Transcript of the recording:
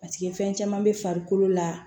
Paseke fɛn caman bɛ farikolo la